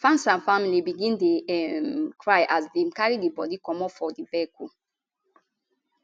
fans and families begin dey um cry as dem dey carry di bodi comot for di vehicle